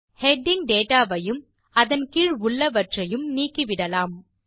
heading date ஐயும் அதன் கீழ் உள்ளவற்றையும் நீக்கிவிடலாம்